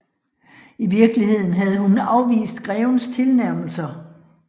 I virkeligheden havde hun afvist grevens tilnærmelser